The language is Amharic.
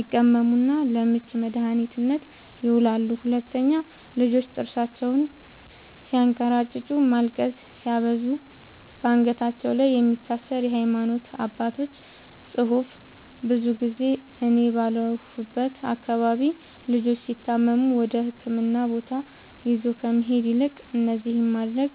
ይቀመሙና ለምች መድኃኒትነት ይውላሉ 2, ልጆች ጥርሳቸውን ስያንከራጭጩ ማልቀስ ሲያበዙ ባንገታቸው ላይ የሚታሰር የሃይማኖት አባቶች ፅሁፍ ብዙ ጊዜ እኔ ባለሁበት አካባቢ ልጆች ሲታመሙ ወደህክምና ቦታ ይዞ ከመሄድ ይልቅ እነዚህን ማድረግ